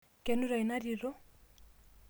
Kenuta ina tito?